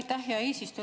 Aitäh, hea eesistuja!